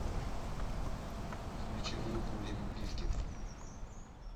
включи группу лимп бизкит